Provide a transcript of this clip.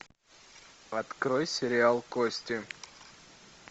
открой сериал кости